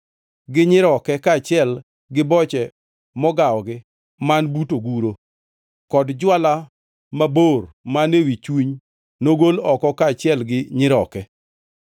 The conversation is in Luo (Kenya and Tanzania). gi nyiroke kaachiel gi boche mogawogi man but oguro, kod jwala mabor man ewi chuny nogol oko kaachiel gi nyiroke.